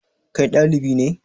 Kai ɗalibi ne?